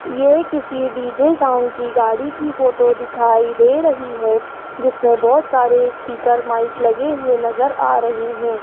ये किसी DJ sound की गाड़ी की फोटो दिखाई दे रही है जिसमें बहोत सारे स्पीकर माइक लगे हुए नज़र आ रहे हैं।